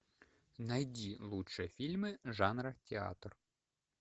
найди лучшие фильмы жанра театр